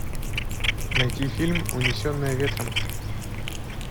найти фильм унесенная ветром